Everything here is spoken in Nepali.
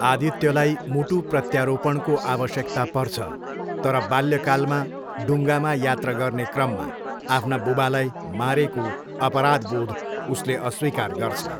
आदित्यलाई मुटु प्रत्यारोपणको आवश्यकता पर्छ तर बाल्यकालमा डुङ्गामा यात्रा गर्ने क्रममा आफ्ना बुबालाई मारेको अपराधबोध उसले अस्वीकार गर्छ।